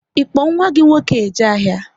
Ị kpo nwa gị nwoke eje ahịa?